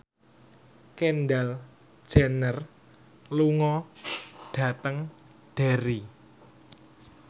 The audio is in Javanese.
Kendall Jenner lunga dhateng Derry